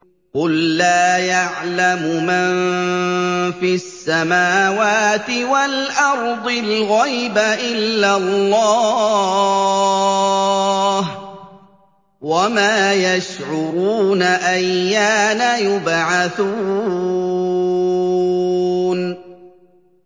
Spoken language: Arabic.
قُل لَّا يَعْلَمُ مَن فِي السَّمَاوَاتِ وَالْأَرْضِ الْغَيْبَ إِلَّا اللَّهُ ۚ وَمَا يَشْعُرُونَ أَيَّانَ يُبْعَثُونَ